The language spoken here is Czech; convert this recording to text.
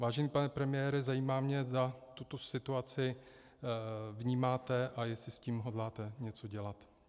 Vážený pane premiére, zajímá mě, zda tuto situaci vnímáte a jestli s tím hodláte něco dělat.